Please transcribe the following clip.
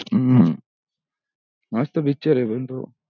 मसत picture हे पण त